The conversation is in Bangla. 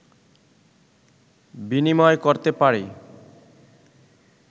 বিনিময় করতে পারি